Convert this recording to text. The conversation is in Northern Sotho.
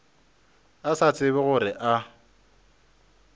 a sa tsebe gore a